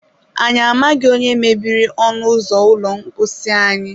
Anyị amaghị onye mebiri ọnụ ụzọ ụlọ mposi anyị